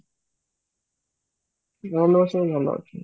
ଘର ଲୋକ ସବୁ ଭଲ ୱାଚନ୍ତି